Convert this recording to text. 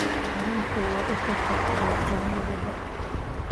Kalluunku waa isha shaqo ee dhalinyarada.